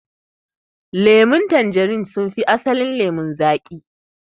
Lemun tanjarin sun fi asalin lemo zaƙi.